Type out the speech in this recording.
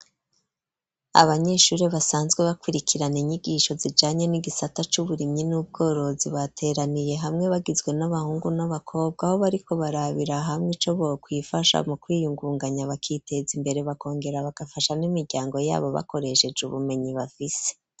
Abanyeshuri basanzwe bakwirikirane inyigisho zijanye n'igisata c'uburimyi n'ubworozi bateraniye hamwe bagizwe n'abahungu n'abakobwa aho bariko barabiraha hamwe icoboyo kuifasha mu kwiyungunganya abakitezi imbere bakongera bagafasha n'imiryango yabo bakoresheje ubumenyi bafise.